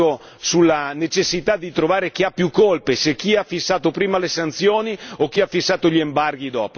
sulla necessità di trovare chi ha più colpe chi ha fissato prima le sanzioni o chi ha fissato gli embarghi dopo.